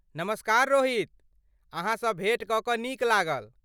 नमस्कार रोहित, अहाँसँ भेँट कऽ कऽ नीक लागल।